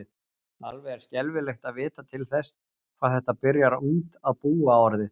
Alveg er skelfilegt að vita til þess hvað þetta byrjar ungt að búa orðið.